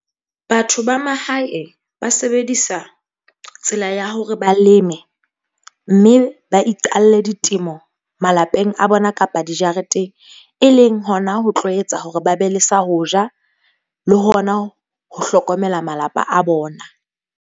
Batho ba mahae ba sebedisa tsela ya hore ba leme, mme ba iqalle ditemo malapeng a bona kapa dijareteng. E leng hona ho tlo etsa hore ba be le sa ho ja le hona ho hlokomela malapa a bona.